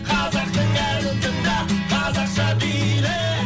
қазақтың әнін тыңда қазақша биле